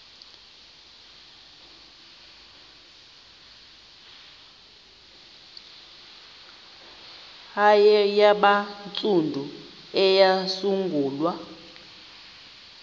hare yabantsundu eyasungulwa